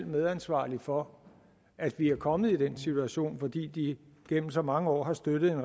medansvarlige for at vi er kommet i den situation fordi de igennem så mange år har støttet en